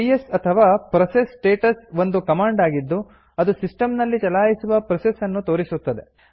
PS ಅಥವಾ process status ಒಂದು command ಆಗಿದ್ದು ಅದು ಸಿಸ್ಟಂ ನಲ್ಲಿ ಚಲಾಯಿಸುವ ಪ್ರೋಸೆಸ್ ನ್ನು ತೋರಿಸುತ್ತದೆ